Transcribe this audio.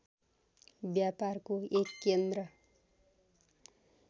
व्यापारको एक केन्द्र